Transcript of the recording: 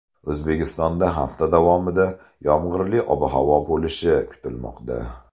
O‘zbekistonda hafta davomida yomg‘irli ob-havo bo‘lishi kutilmoqda.